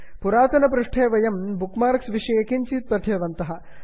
पुरातनपाठे वयं bookmarks विषये किञ्चित् पठितवन्तः